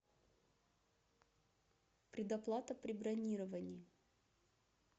предоплата при бронировании